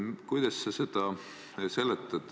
Kuidas sa seda seletad?